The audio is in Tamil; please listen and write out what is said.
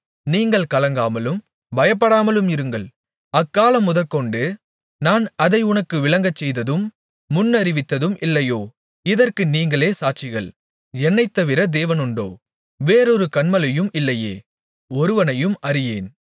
நீங்கள் கலங்காமலும் பயப்படாமலும் இருங்கள் அக்காலமுதற்கொண்டு நான் அதை உனக்கு விளங்கச்செய்ததும் முன்னறிவித்ததும் இல்லையோ இதற்கு நீங்களே என் சாட்சிகள் என்னைத்தவிர தேவனுண்டோ வேறொரு கன்மலையும் இல்லையே ஒருவனையும் அறியேன்